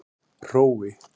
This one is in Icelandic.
Hrói